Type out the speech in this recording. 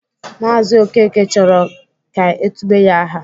Maazi Okeke chọrọ ka e tube ya aha.